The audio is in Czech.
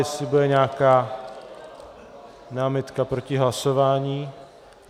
Jestli bude nějaká námitka proti hlasování...?